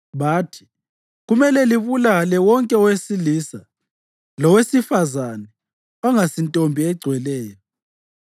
Bathi, “Kumele libulale wonke owesilisa lowesifazane ongasintombi egcweleyo.”